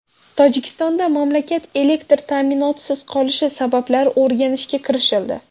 Tojikistonda mamlakat elektr ta’minotisiz qolishi sabablari o‘rganishga kirishildi.